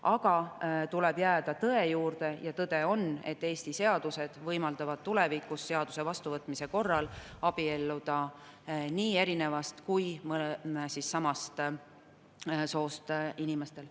Aga tuleb jääda tõe juurde ja tõde on see, et Eesti seadused võimaldavad seaduse vastuvõtmise korral tulevikus abielluda nii erinevast kui ka samast soost inimestel.